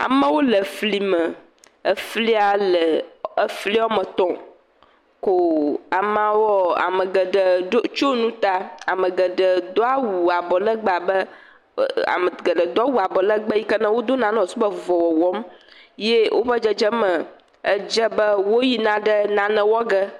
Amewo le fli me efli le efli woame etɔ̃ ko amawoa ame geɖee do.., tsɔ nu ta ame geɖee do awu abɔ legbee abe e.e..e..ame geɖe do awu abɔ legbee yi ke wodona ne wosube avuvɔ le wɔwɔm, eye wodze abe woyina nane wɔ ge.